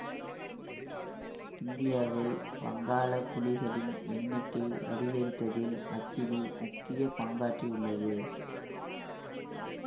இந்தியாவில் வங்காள புலிகளின் எண்ணிக்கை அதிகரித்ததில் மச்சலி முக்கிய பங்காற்றி உள்ளது